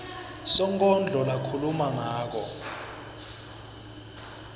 sonkondlo lakhuluma ngako